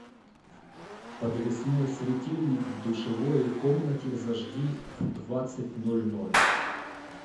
подвесной светильник в душевой комнате зажги в двадцать ноль ноль